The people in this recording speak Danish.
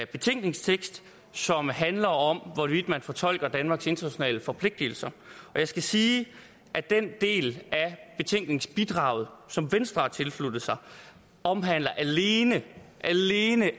betænkningstekst som handler om hvorvidt man fortolker danmarks internationale forpligtelser jeg skal sige at den del af betænkningsbidraget som venstre har tilsluttet sig omhandler alene